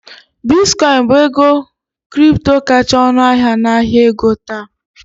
Bitcoin bụ ego kripto kacha ọnụahịa n'ahịa ego taa